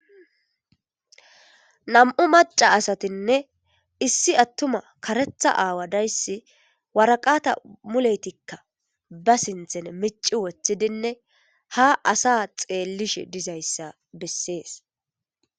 Nam'u maca asatinne issi attuma karetha aawa dayssi waraqata muleytikka ba sinthen mici wothidinne ha asa xeellish dizayssa bessees.